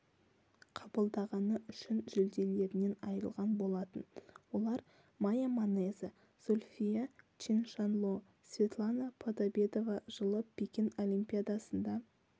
қабылдағаны үшін жүлделерінен айырған болатын олар мая манеза зульфия чиншанло светлана подобедова жылы пекин олимпиадасында